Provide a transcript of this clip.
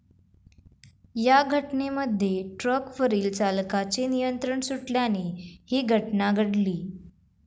या घटनेमध्ये ट्रकवरील चालकाचे नियंत्रण सुटल्याने ही घटना घडली.